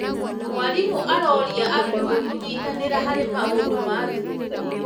Mwarimũ aroria arutwo kũnyitanĩra harĩ maũndũ ma thukuru.